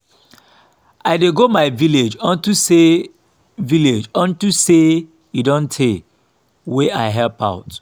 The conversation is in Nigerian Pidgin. i dey go my village unto say village unto say e don tey wey i help out